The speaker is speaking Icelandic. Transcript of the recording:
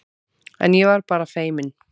En ég var bara feiminn.